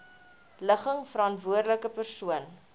ligging verantwoordelike persoon